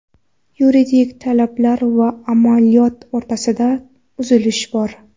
Yuridik talablar va amaliyot o‘rtasidagi uzilish bor.